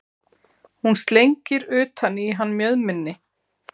Hún slengir utan í hann mjöðminni.